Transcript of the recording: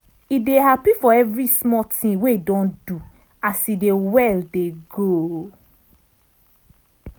e dey happy for every small ting wey e don do as e dey well dey go.